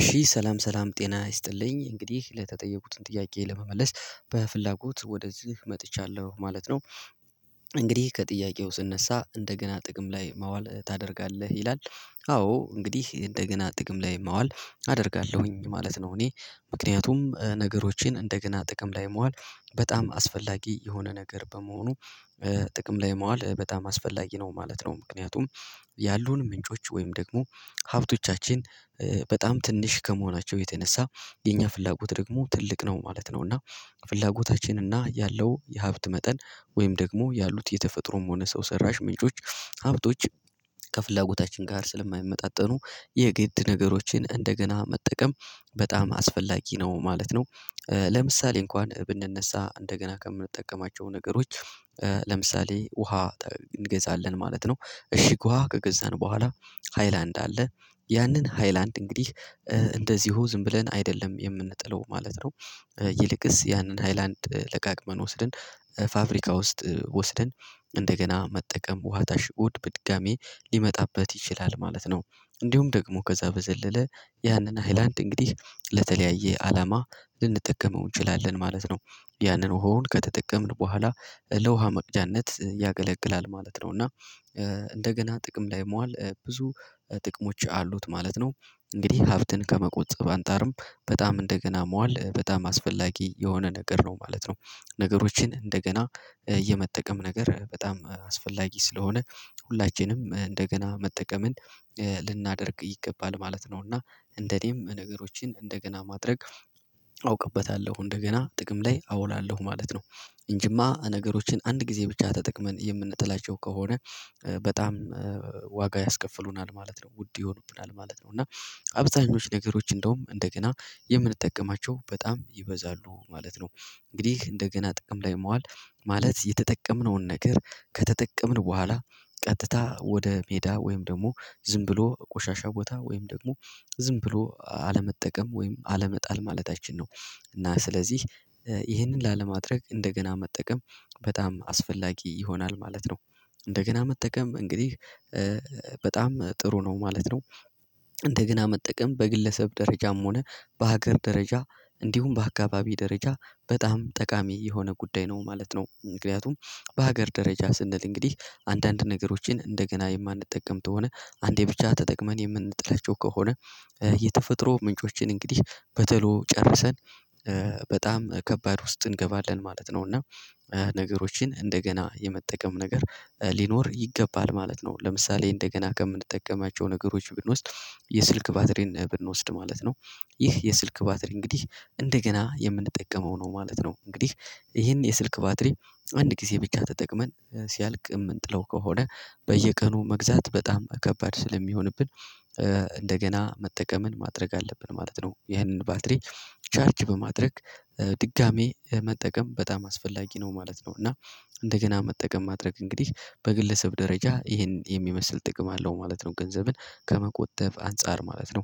እሺ ሰላም ሰላም ጤና ይስጥልኝ እንግዲህ ለተጠየቁትን ጥያቄ ለመመለስ በፍላጎት ወደዚህ መጥቻለሁ ማለት ነው። እንግዲህ ከጥያቄው ስነሳ እንደገና ጥቅም ላይ ማዋል ታደርጋለህ ይላል አዎ እንግዲህ እንደገና ጥቅም ላይ መዋል አደርጋለሁኝ ማለት ነው። እኔ ምክንያቱም ነገሮቼን እንደገና ጥቅም ላይ መዋል በጣም አስፈላጊ የሆነ ነገር በመሆኑ። ጥቅም ላይ ማዋል በጣም አስፈላጊ ነው ማለት ነው። ምክንያቱም ያሉን ምንጮች ወይም ደግሞ ሀብቶቻችን በጣም ትንሽ ከመሆናቸው የተነሳ የኛ ፍላጎት ደግሞ ትልቅ ነው ማለት ነው። እና ፍላጎታችን እና ያለው የሀብት መጠን ወይም ደግሞ ያሉት የተፈጥሮም ሆነ ሰው ሰራሽ ምንጮች ሀብቶች ከፍላጎታችን ጋር ስለማይመጣጠኑ የግድ ነገሮችን እንደገና መጠቀም በጣም አስፈላጊ ነው ማለት ነው። ለምሳሌ እንኳን ብንነሳ እንደገና ከምንጠቀማቸው ነገሮች ለምሳሌ ውሃ እንገዛለን ማለት ነው። እሺ ውሃ ከገዛን በኋላ ሃይላንድ አለ ያንን ሃይላንድ እንግዲህ እንደዚሁ ዝም ብለን አይደለም የምንጥለው ማለት ነው። ይልቅስ ያንን ሃይላንድ ለቃቅመን ወስደን ፋብሪካ ውስጥ ወስደን እንደገና መጠቀም ውሃ ታሽጎ በድጋሚ ሊመጣበት ይችላል ማለት ነው። እንዲሁም ደግሞ ከዛ በዘለለ ያንን ሃይላንድ እንግዲህ ለተለያየ አላማ ልንጠቀመው እንችላለን ማለት ነው። ያንን ውሃውን ከተጠቀምን በኋላ ለውሃ መቅጃነት ያገለግላል ማለት ነው። እና እንደገና ጥቅም ላይ መዋል ብዙ ጥቅሞች አሉት ማለት ነው። እንግዲህ ሀብትን ከመቆጠብ አንፃርም በጣም እንደገና መዋል በጣም አስፈላጊ የሆነ ነገር ነው ማለት ነው። ነገሮችን እንደገና የመጠቀም ነገር በጣም አስፈላጊ ስለሆነ ሁላችንም እንደገና መጠቀምን ይገባል ማለት ነው። እና እንደኔም ነገሮችን እንደገና ማድረግ አውቅበታለሁ እንደገና ጥቅም ላይ አውላለሁ ማለት ነው። እንጂማ ነገሮችን አንድ ጊዜ ብቻ ተጠቅመን የምንጥላቸው ከሆነ በጣም ዋጋ ያስከፍሉናል ማለት ነው። ውድ ይሆኑብናል ማለት ነው። እና አብዛኞቹ ነገሮች እንደውም እንደገና የምንጠቀማቸው በጣም ይበዛሉ ማለት ነው። እንግዲህ እንደገና ጥቅም ላይ መዋል ማለት የተጠቀምነውን ነገር ከተጠቀምን በኋላ ቀጥታ ወደ ሜዳ ወይም ደግሞ ዝም ብሎ ቆሻሻ ቦታ ወይም ደግሞ ዝም ብሎ አለመጠቀም ወይም አለመጣል ማለታችን ነው። እና ስለዚህ ይህንን ላለማድረግ እንደገና መጠቀም በጣም አስፈላጊ ይሆናል ማለት ነው። እንደገና መጠቀም እንግዲህ በጣም ጥሩ ነው ማለት ነው። እንደገና መጠቀም በግለሰብ ደረጃም ሆነ በሀገር ደረጃ እንዲሁም በአካባቢ ደረጃ በጣም ጠቃሚ የሆነ ጉዳይ ነው ማለት ነው። ምክንያቱም በሀገር ደረጃ ስንል እንግዲህ አንዳንድ ነገሮችን እንደገና የማንጠቀም ተሆነ አንዴ ብቻ ተጠቅመን የምንጥለቸው ከሆነ የተፈጥሮ ምንጮችን እንግዲህ በቶሎ ጨርሰን በጣም ከባድ ውስጥ እንገባለን ማለት ነው። እና ነገሮችን እንደገና የመጠቀም ነገር ሊኖር ይገባል ማለት ነው። ለምሳሌ እንደገና ከምንጠቀማቸው ነገሮች ብንወስድ የስልክ ባትሪን ብንወስድ ማለት ነው። ይህ የስልክ ባትሪ እንግዲህ እንደገና የምንጠቀመው ነው ማለት ነው። እንግዲህ ይህን የስልክ ባትሪ አንድ ጊዜ ቢቻ ተጠቅመን ሲያልቅም እንጥለው ከሆነ በየቀኑ መግዛት በጣም ከባድ ስለሚሆንብን እንደገና መጠቀምን ማድረግ አለብን ማለት ነው። ይህንን ባትሪ ቻርጅ በማድረግ ድጋሚ መጠቀም በጣም አስፈላጊ ነው ማለት ነው። እና እንደገና መጠቀም ማድረግ እንግዲህ በግለሰብ ደረጃ ይሄን የሚመስል ጥቅም አለው ማለት ነው። ገንዘብን ከመቆጠብ አንፃር ማለት ነው።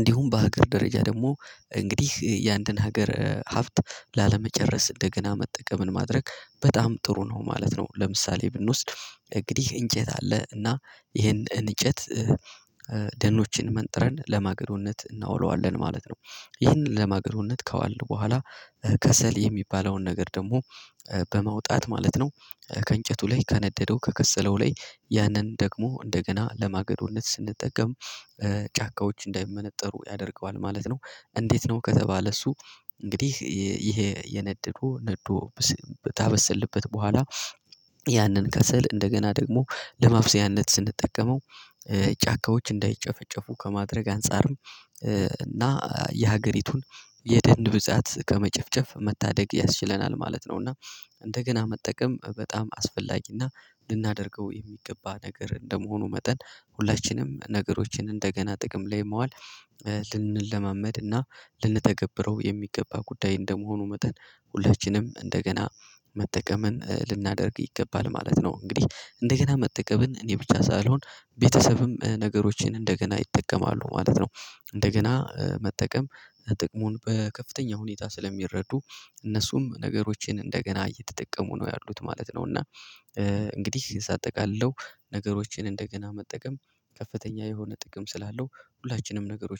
እንዲሁም በሀገር ደረጃ ደግሞ እንግዲህ የአንድን ሀገር ሀብት ላለመጨረስ እንደገና መጠቀምን ማድረግ በጣም ጥሩ ነው ማለት ነው። ለምሳሌ ብንወስድ እንግዲህ እንጨት አለ እና ይሄን እንጨት ደኖችን መንጥረን ለማገዶነት እናውለዋለን ማለት ነው። ይህንን ለማገዶነት ከዋልን በኋላ ከሰል የሚባለውን ነገር ደግሞ በመውጣት ማለት ነው። ከእንጨቱ ላይ ከነደደው ከከሰለው ላይ ያንን ደግሞ እንደገና ለማገዶነት ስንጠቀም ጫካዎች እንዳይመነጠሩ ያደርገዋል ማለት ነው። እንዴት? ነው ከተባለ እሱ እንግዲህ ይሄ የነደዱ ነዶ በታበሰልበት በኋላ ያንን ከሰል እንደገና ደግሞ ለማብሰያነት ስንጠቀመው ጫካዎች እንዳይጨፈጨፉ ከማድረግ አንፃርም እና የሀገሪቱን የደን ብዛት ከመጨፍጨፍ መታደግ ያስችለናል ማለት ነው። እና እንደገና መጠቀም በጣም አስፈላጊና ልናደርገው የሚገባ ነገር እንደመሆኑ መጠን ሁላችንም ነገሮችን እንደገና ጥቅም ላይ መዋል ልንለማመድ እና ልንተገብረው የሚገባ ጉዳይ እንደመሆኑ መጠን ሁለችንም እንደገና መጠቀምን ልናደርግ ይገባል ማለት ነው። እንግዲህ እንደገና መጠቀምን እኔ ብቻ ሳልሆን ቤተሰብም ነገሮችን እንደገና ይጠቀማሉ ማለት ነው። እንደገና መጠቀም ጥቅሙን በከፍተኛ ሁኔታ ስለሚረዱ እነሱም ነገሮችን እንደገና እየተጠቀሙ ነው ያሉት ማለት ነው። እና እንግዲህ ሳጠቃልለው ነገሮችን እንደገና መጠቀም ከፍተኛ የሆነ ጥቅም ስላለው ሁላችንም ነገሮች